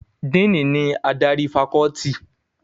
Díìnì ni adarí fakọ́ọ́tì.